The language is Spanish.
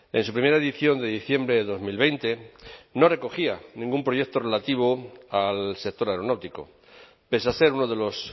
en su primera edición de diciembre de dos mil veinte no recogía ningún proyecto relativo al sector aeronáutico pese a ser uno de los